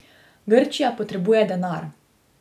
Grčija potrebuje denar.